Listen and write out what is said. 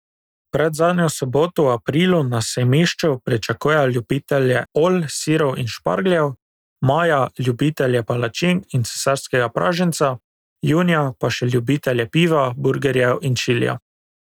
Predzadnjo soboto v aprilu na sejmišču pričakujejo ljubitelje olj, sirov in špargljev, maja ljubitelje palačink in cesarskega praženca, junija pa še ljubitelje piva, burgerjev in čilija.